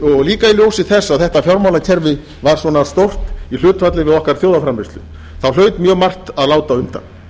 og líka í ljósi þess að þetta fjármálakerfi var svona stórt í hlutfalli við okkar þjóðarframleiðslu þá hlaut mjög margt að láta undan